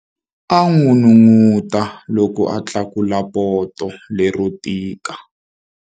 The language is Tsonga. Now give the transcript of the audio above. A n'unun'uta loko a tlakula poto lero tika.